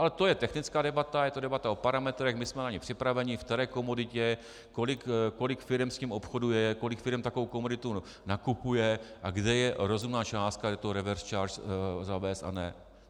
Ale to je technická debata, je to debata o parametrech, my jsme na ni připraveni, v které komoditě kolik firem s tím obchoduje, kolik firem takovou komoditu nakupuje a kde je rozumná částka, kdy to reverse charge zavést a ne.